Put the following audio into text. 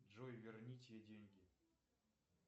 джой верните деньги